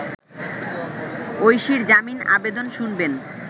ঐশীর জামিন আবেদন শুনবেন